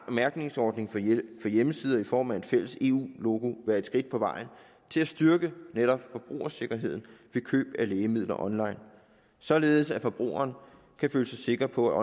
mærkningsordning for hjemmesider i form af et fælles eu logo være et skridt på vejen til at styrke netop forbrugersikkerheden ved køb af lægemidler online således at forbrugeren kan føle sig sikker på at